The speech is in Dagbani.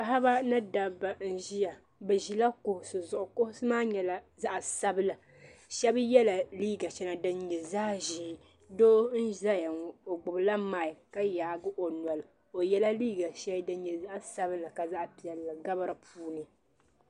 Paɣaba ni dabba n ʒeya bɛ ʒeya kuɣisi zuɣu kuɣisi maa nyɛla zaɣi sabila shɛba nyɛla ban yɛ liiga shɛŋa din nyɛ zaɣi ʒee doo n zaya ŋɔ o gbubila mik ka yaai o noli o yɛla liiga shɛli din nyɛ zaɣi sabila ka zaɣi piɛlli gabi di puuni.